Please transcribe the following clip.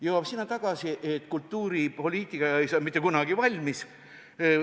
Jõuab tagasi tõdemuseni, et kultuuripoliitika ei saa mitte kunagi valmis.